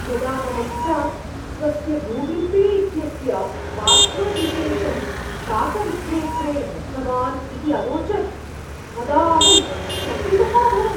यदा मम पिता स्वस्य गूगल् पे इत्यस्य पास्वर्ड्विशेषं शाकविक्रेत्रे दत्तवान् इति अवोचत् तदा अहं चकितः अभवम्।